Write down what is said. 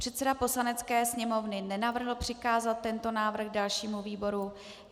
Předseda Poslanecké sněmovny nenavrhl přikázat tento návrh dalšímu výboru.